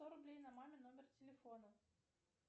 сто рублей на мамин номер телефона